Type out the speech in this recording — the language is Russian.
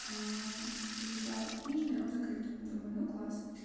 зашла в книжный он закрыт думаю ну класс